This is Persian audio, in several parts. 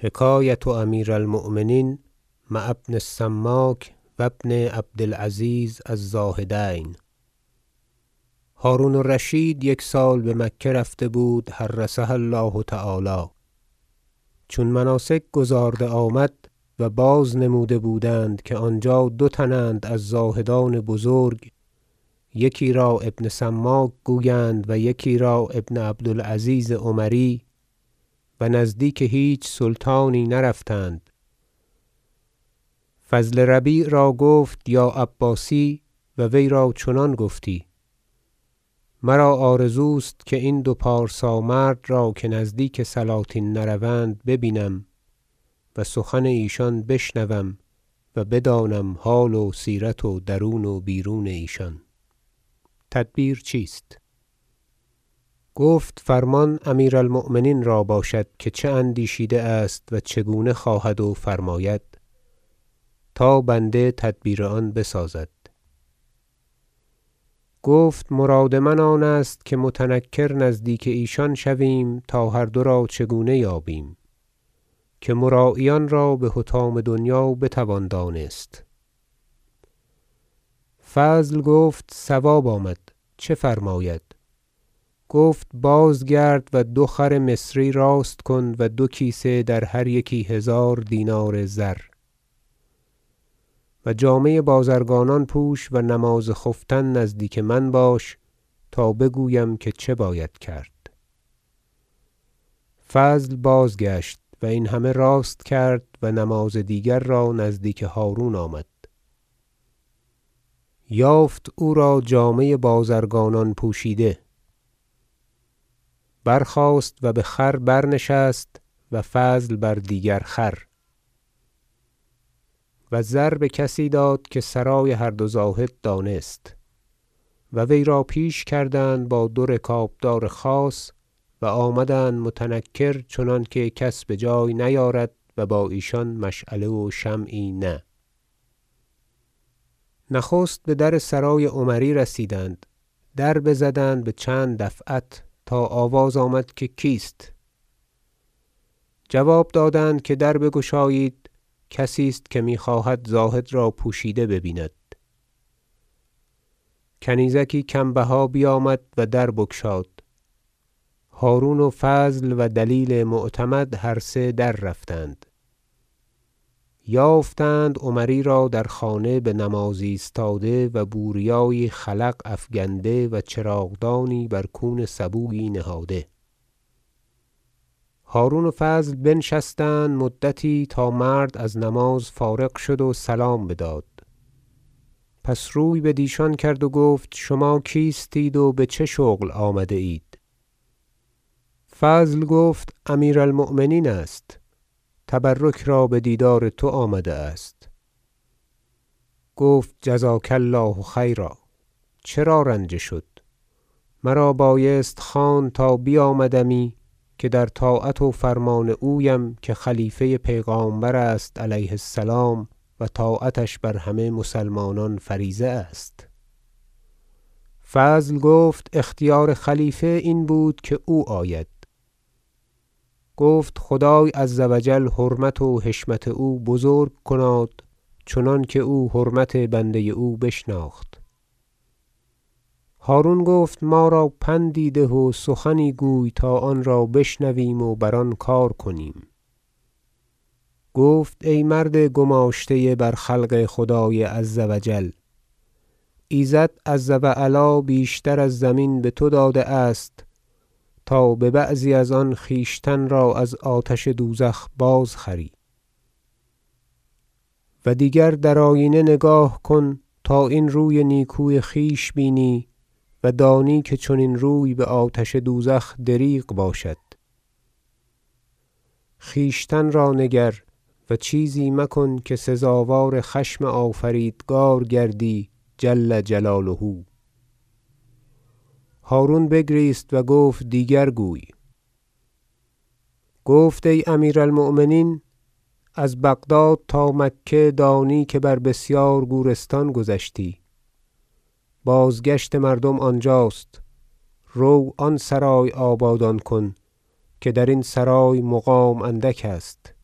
حکایة امیر المؤمنین مع ابن السماک و ابن عبد العزیز الزاهدین هرون الرشید یک سال به مکه رفته بود حرسها الله تعالی چون مناسک گزارده آمد و باز نموده بودند که آنجا دو تن اند از زاهدان بزرگ یکی را ابن السماک گویند و یکی را ابن عبد العزیز عمری و نزدیک هیچ سلطان نرفتند فضل ربیع را گفت یا عباسی- و وی را چنان گفتی- مرا آرزوست که این دو پارسا مرد را که نزدیک سلاطین نروند ببینم و سخن ایشان بشنوم و بدانم حال و سیرت و درون و بیرون ایشان تدبیر چیست گفت فرمان امیر المؤمنین را باشد که چه اندیشیده است و چگونه خواهد و فرماید تا بنده تدبیر آن بسازد گفت مراد من آن است که متنکر نزدیک ایشان شویم تا هر دو را چگونه یابیم که مراییان را به حطام دنیا بتوان دانست فضل گفت صواب آمد چه فرماید گفت بازگرد و دو خر مصری راست کن و دو کیسه در هر یکی هزار دینار زر و جامه بازرگانان پوش و نماز خفتن نزدیک من باش تا بگویم که چه باید کرد فضل بازگشت و این همه راست کرد و نماز دیگر را نزدیک هارون آمد یافت او را جامه بازرگانان پوشیده برخاست و به خر برنشست و فضل بر خر دیگر و زر به کسی داد که سرای هر دو زاهد دانست و وی را پیش کردند با دو رکاب دار خاص و آمدند متنکر چنانکه کس بجای نیارد و با ایشان مشعله و شمعی نه نخست بدر سرای عمری رسیدند در بزدند به چند دفعت تا آواز آمد که کیست جواب دادند که دربگشایید کسی است که می خواهد که زاهد را پوشیده به بیند کنیزکی کم بها بیامد و در بگشاد هرون و فضل و دلیل معتمد هر سه دررفتند یافتند عمری را در خانه به نماز ایستاده و بوریایی خلق افگنده و چراغدانی بر کون سبویی نهاده هرون و فضل بنشستند مدتی تا مرد از نماز فارغ شد و سلام بداد پس روی بدیشان کرد و گفت شما کیستید و به چه شغل آمده اید فضل گفت امیر- المؤمنین است تبرک را به دیدار تو آمده است گفت جزاک الله خیرا چرا رنجه شد مرا بایست خواند تا بیامدمی که در طاعت و فرمان اویم که خلیفه پیغامبر است علیه السلام و طاعتش بر همه مسلمانان فریضه است فضل گفت اختیار خلیفه این بود که او آید گفت خدای عز و جل حرمت و حشمت او بزرگ کناد چنانکه او حرمت بنده او بشناخت هرون گفت ما را پندی ده و سخنی گوی تا آن را بشنویم و بر آن کار کنیم گفت ای مرد گماشته بر خلق خدای عز و جل ایزد عز و علی بیشتر از زمین به تو داده است تا به بعضی از آن خویشتن را از آتش دوزخ باز خری و دیگر در آیینه نگاه کن تا این روی نیکو خویش بینی و دانی که چنین روی به آتش دوزخ دریغ باشد خویشتن را نگر و چیزی مکن که سزاوار خشم آفریدگار گردی جل جلاله هرون بگریست و گفت دیگر گوی گفت ای امیر المؤمنین از بغداد تا مکه دانی که بر بسیار گورستان گذشتی بازگشت مردم آنجاست رو آن سرای آبادان کن که درین سرای مقام اندک است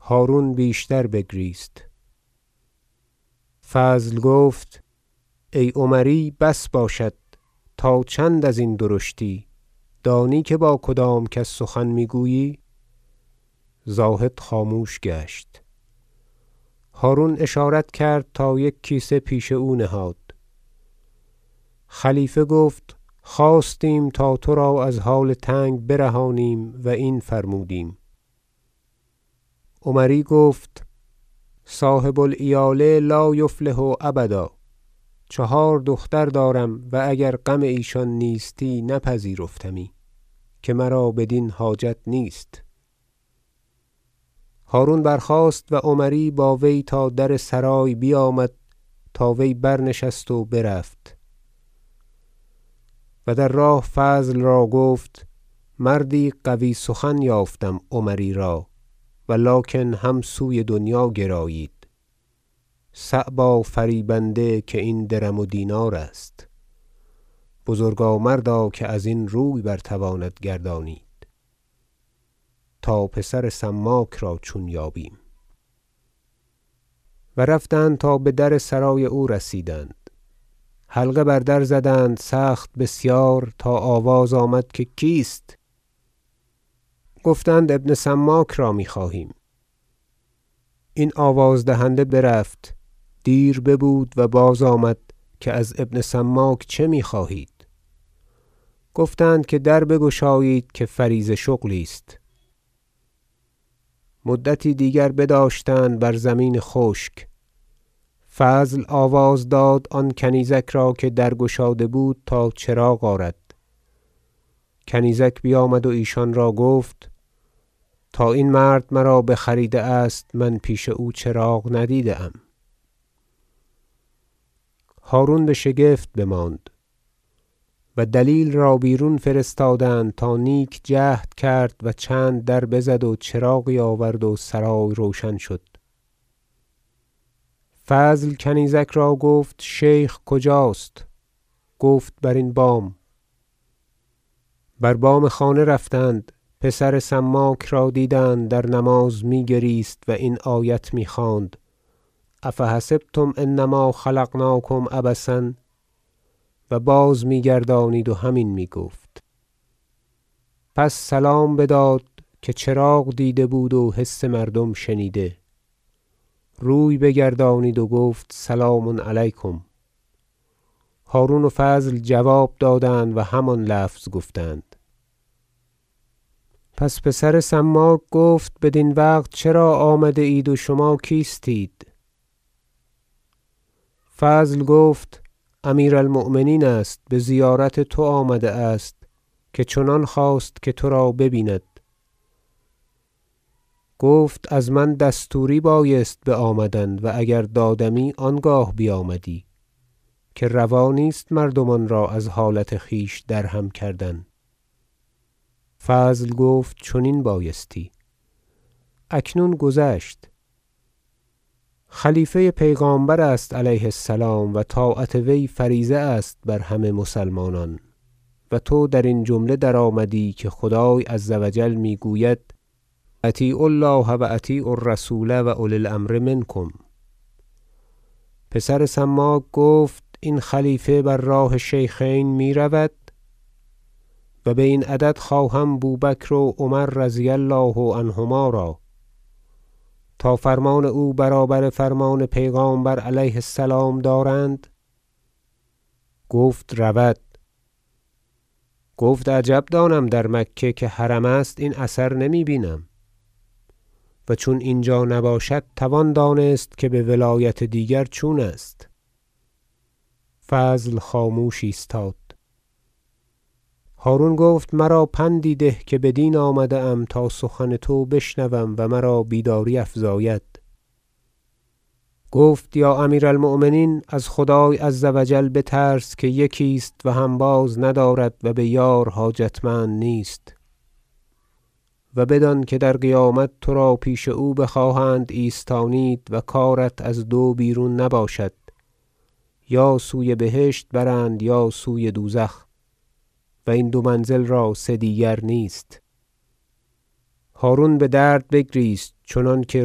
هرون بیشتر بگریست فضل گفت ای عمری بس باشد تا چند ازین درشتی دانی که با کدام کس سخن می گویی زاهد خاموش گشت هرون اشارت کرد تا یک کیسه پیش او نهاد خلیفه گفت خواستیم تا ترا از حال تنگ برهانیم و این فرمودیم عمری گفت صاحب العیال لا یفلح ابدا چهار دختر دارم و اگر غم ایشان نیستی نپذیرفتمی که مرا بدین حاجت نیست هرون برخاست و عمری با وی تا در سرای بیامد تا وی برنشست و برفت و در راه فضل را گفت مردی قوی سخن یافتم عمری را ولکن هم سوی دنیا گرایید صعبا فریبنده که این درم و دینار است بزرگا مردا که ازین روی برتواند گردانید تا پسر سماک را چون یابیم و رفتند تا بدر سرای او رسیدند حلقه بر در بزدند سخت بسیار تا آواز آمد که کیست گفتند ابن سماک را می خواهیم این آواز دهنده برفت دیر ببود و بازآمد که از ابن سماک چه می خواهید گفتند که در بگشایید که فریضه شغلی است مدتی دیگر بداشتند بر زمین خشک فضل آواز داد آن کنیزک را که در گشاده بود تا چراغ آرد کنیزک بیامد و ایشان را گفت تا این مرد مرا بخریده است من پیش او چراغ ندیده ام هرون به شگفت بماند و دلیل را بیرون فرستادند تا نیک جهد کرد و چند در بزد و چراغی آورد و سرای روشن شد فضل کنیزک را گفت شیخ کجاست گفت بر این بام بر بام خانه رفتند پسر سماک را دیدند در نماز می گریست و این آیت می خواند أ فحسبتم أنما خلقناکم عبثا و بازمی گردانید و همین می گفت پس سلام بداد که چراغ دیده بود و حس مردم شنیده روی بگردانید و گفت سلام علیکم هرون و فضل جواب دادند و همان لفظ گفتند پس پسر سماک گفت بدین وقت چرا آمده اید و شما کیستید فضل گفت امیر المؤمنین است به زیارت تو آمده است که چنان خواست که ترا به بیند گفت از من دستوری بایست به آمدن و اگر دادمی آنگاه بیامدی که روا نیست مردمان را از حالت خویش درهم کردن فضل گفت چنین بایستی اکنون گذشت خلیفه پیغامبر است علیه السلام و طاعت وی فریضه است بر همه مسلمانان تو درین جمله درآمدی که خدای عز و جل می گوید أطیعوا الله و أطیعوا الرسول و أولی الأمر منکم پسر سماک گفت این خلیفه بر راه شیخین می رود- و به این عدد خواهم بوبکر و عمر رضی الله عنهما را- تا فرمان او برابر فرمان پیغامبر علیه- السلام دارند گفت رود گفت عجب دانم که در مکه که حرم است این اثر نمی- بینم و چون اینجا نباشد توان دانست که به ولایت دیگر چون است فضل خاموش ایستاد هرون گفت مرا پندی ده که بدین آمده ام تا سخن تو بشنوم و مرا بیداری افزاید گفت یا امیر المؤمنین از خدای عز و جل بترس که یکی است و هنباز ندارد و به یار حاجتمند نیست و بدان که در قیامت ترا پیش او بخواهند ایستانید و کارت از دو بیرون نباشد یا سوی بهشت برند یا سوی دوزخ و این دو منزل را سه دیگر نیست هرون به درد بگریست چنانکه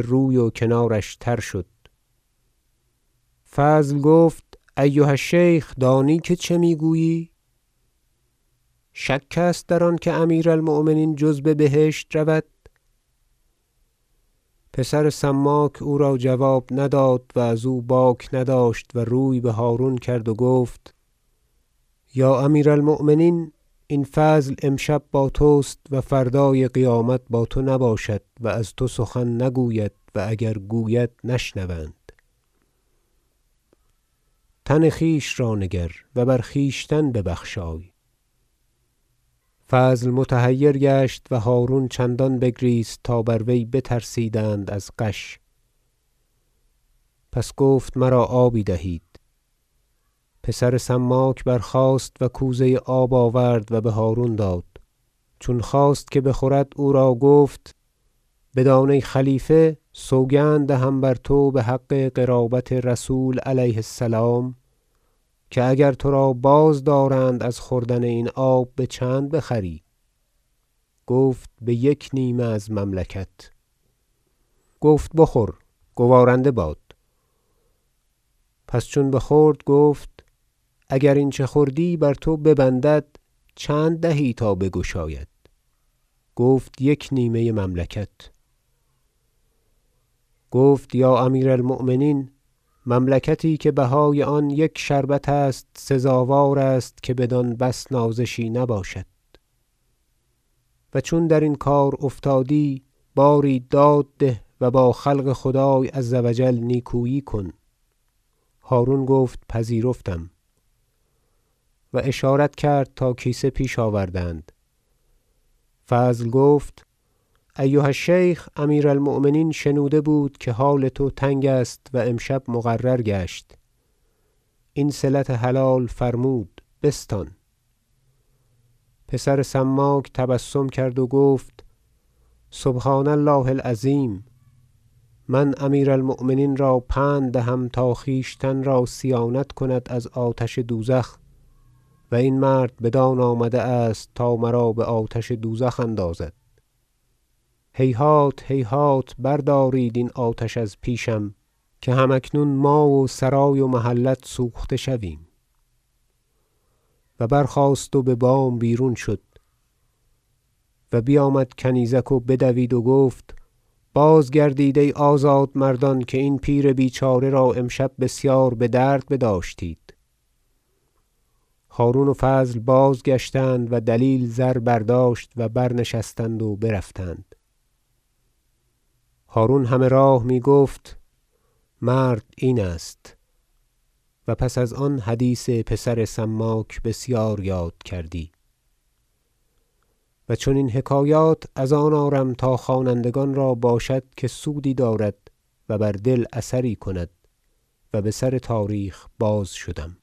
روی و کنارش تر شد فضل گفت ایها- الشیخ دانی که چه می گویی شک است در آنکه امیر المؤمنین جز ببهشت رود پسر سماک او را جواب نداد و ازو باک نداشت و روی به هرون کرد و گفت یا امیر- المؤمنین این فضل امشب با تست و فردای قیامت با تو نباشد و از تو سخن نگوید و اگر گوید نشنوند تن خویش را نگر و بر خویشتن ببخشای فضل متحیر گشت و هرون چندان بگریست تا بر وی بترسیدند از غش پس گفت مرا آبی دهید پسر سماک برخاست و کوزه آب آورد و به هرون داد چون خواست که بخورد او را گفت بدان ای خلیفه سوگند دهم بر تو به حق قرابت رسول علیه السلام که اگر ترا بازدارند از خوردن این آب به چند بخری گفت به یک نیمه از مملکت گفت بخور گوارنده باد پس چون بخورد گفت اگر این چه خوردی بر تو ببندد چند دهی تا بگشاید گفت یک نیمه مملکت گفت یا امیر المؤمنین مملکتی که بهای آن یک شربت است سزاوار است که بدان بس نازشی نباشد و چون درین کار افتادی باری داد ده و با خلق خدای عز و جل نیکویی کن هرون گفت پذیرفتم و اشارت کرد تا کیسه پیش آوردند فضل گفت ایها الشیخ امیر المؤمنین شنوده بود که حال تو تنگ است و امشب مقرر گشت این صلت حلال فرمود بستان پسر سماک تبسم کرد و گفت سبحان الله العظیم من امیر المؤمنین را پند دهم تا خویشتن را صیانت کند از آتش دوزخ و این مرد بدان آمده است تا مرا به آتش دوزخ اندازد هیهات هیهات بردارید این آتش از پیشم که هم اکنون ما و سرای و محلت سوخته شویم و برخاست و به بام بیرون شد و بیامد کنیزک و بدوید و گفت بازگردید ای آزاد مردان که این پیر بیچاره را امشب بسیار به درد بداشتید هرون و فضل بازگشتند و دلیل زر برداشت و برنشستند و برفتند هرون همه راه می گفت مرد این است و پس از آن حدیث پسر سماک بسیار یاد کردی و چنین حکایات از آن آرم تا خوانندگان را باشد که سودی دارد و بر دل اثری کند و به سر تاریخ بازشدم